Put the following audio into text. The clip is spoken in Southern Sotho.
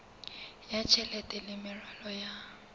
ya tjhelete le meralo ya